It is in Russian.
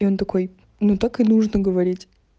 и он такой ну только нужно говорить